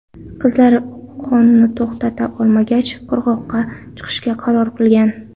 Qizlar qonni to‘xtata olmagach, qirg‘oqqa chiqishga qaror qilgan.